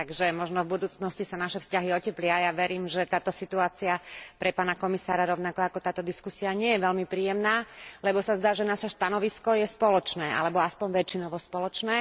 Takže možno v budúcnosti sa naše vzťahy oteplia a ja verím, že táto situácia pre pána komisára rovnako ako táto diskusia nie je veľmi príjemná, lebo sa zdá, že naše stanovisko je spoločné alebo aspoň väčšinovo spoločné.